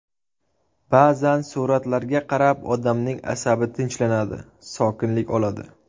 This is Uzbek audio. Ba’zan suratlarga qarab, odamning asabi tinchlanadi, sokinlik oladi.